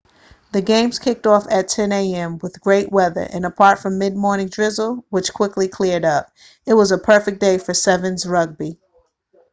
the games kicked off at 10:00am with great weather and apart from mid morning drizzle which quickly cleared up it was a perfect day for 7's rugby